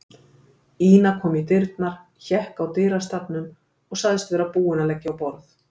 Ína kom í dyrnar, hékk í dyrastafnum og sagðist vera búin að leggja á borð.